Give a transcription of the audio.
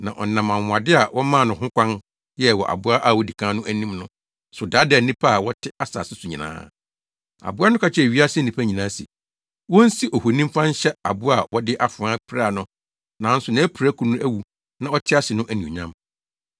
Na ɔnam anwonwade a wɔmaa no ho kwan yɛe wɔ aboa a odi kan no anim no so daadaa nnipa a wɔte asase so nyinaa. Aboa no ka kyerɛɛ wiase nnipa nyinaa se, wonsi ohoni mfa nhyɛ aboa a wɔde afoa piraa no nanso nʼapirakuru no awu na ɔte ase no anuonyam.